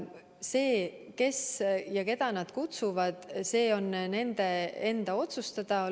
See, keda nad kutsuvad, on nende enda otsustada.